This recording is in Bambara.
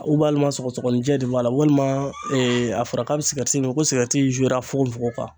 sɔgɔsɔgɔninjɛ de b'a la walima a fɔra k'a bɛ mi ko fokofoko.